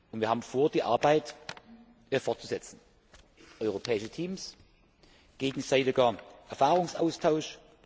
Und wir haben vor, die Arbeit fortzusetzen europäische Teams, gegenseitiger Erfahrungsaustausch.